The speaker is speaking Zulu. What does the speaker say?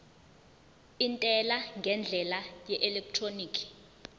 intela ngendlela yeelektroniki